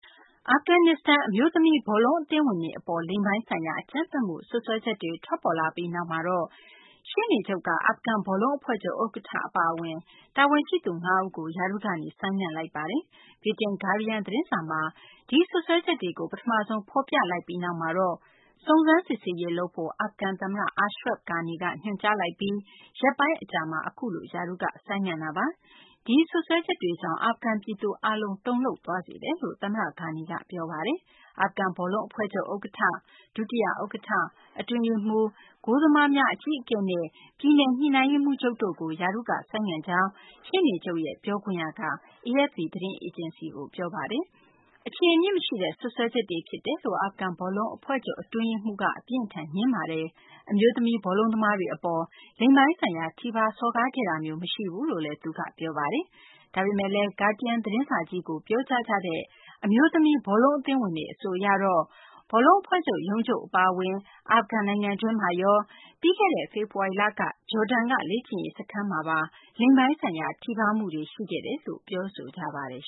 အာဖဂန်နစ္စတန် အမျိုးသမီး ဘောလုံးအသင်းဝင်တွေ အပေါ် လိင်ပိုင်းဆိုင်ရာ အကြမ်းဖက်မှု စွပ်စွဲချက်တွေ ထွက်ပေါ်လာပြီးနောက်မှာတော့ ရှေ့နေချုပ်က အာဖဂန် ဘောလုံး အဖွဲ့ချုပ် ဥက္ကဌ အပါအဝင် တာဝန်ရှိသူ ၅ ဦးကို ရာထူးကနေ ဆိုင်းငံ့လိုက်ပါတယ်။ ဗြိတိန် ဂါးဒီးယန်း သတင်းစာမှာ ဒီစွပ်စွဲချက်တွေကို ပထမဆုံး ဖော်ပြလိုက်ပြီးနောက်မှာတော့ စုံစမ်းစစ်ဆေးရေး လုပ်ဖို့ အာဖဂန် သမ္မတ Ashraf Ghani က ညွှန်ကြားလိုက်ပြီး ရက်ပိုင်းအကြာမီာ အခုလို ရာထူးက ဆိုင်းငံ့လိုက်တာပါ။ ဒီစွပ်စွဲချက်တွေကြောင့် အာဖဂန်ပြည်သူ အားလုံးကို တုန်လှုပ်သွားစေတယ်လို့လည်း သမ္မတ Ghani က ပြောဆိုခဲ့တာပါ။ အာဖဂန် ဘောလုံးအဖွဲ့ချုပ် ဥက္ကဌ၊ ဒုတိယ ဥက္ကဌ၊ အတွင်းရေးမှူးချုပ်၊ ဂိုးသမားများ အကြီးအကဲနဲ့ ပြည်နယ် ညှိနှိုင်းရေးမှူးချုပ်တို့ကို ရာထူးက ဆိုင်းငံ့လိုက်ကြောင်း ရှေ့နေချုပ်ရဲ့ ပြောခွင့်ရ Jamshid Rasuli က AFP သတင်းအေဂျင်စီကို ပြောပါတယ်။ အခြေအမြစ် မရှိတဲ့ စွပ်စွဲချက်တွေ ဖြစ်တယ်လို့ အာဖဂန် ဘောလုံးအဖွဲ့ချုပ် အတွင်းရေးမှူး Sayed Alireza Aqazada က အပြင်းအထန် ငြင်းဆိုပါတယ်။ အမျိုးသမီး ဘောလုံးသမားတွေ အပေါ် လိင်ပိုင်းဆိုင်ရာ ထိပါး စော်ကားခဲ့တာမျိုး မရှိဘူးလို့လည်း သူက ပြောပါတယ်။ ဒါပေမယ့်လည်း Guardian သတင်းစာကြီးကို ပြောကြားကြတဲ့ အမျိုးသမီး ဘောလုံးအသင်းဝင်တွေ အဆိုအရတော့ ဘောလုံးအဖွဲ့ချုပ် ရုံးချုပ် အပါအဝင် အာဖဂန်နိုင်ငံတွင်းမှာရော၊ ပြီးခဲ့တဲ့ ဖေဖော်ဝါရီလက ဂျော်ဒန်က လေ့ကျင့်ရေး စခန်းမှာပါ လိင်ပိုင်းဆိုင်ရာ ထိပါးမှုတွေ ရှိခဲ့တယ်လို့ ပြောဆိုကြပါတယ်